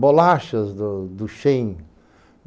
Bolachas do do Chêin.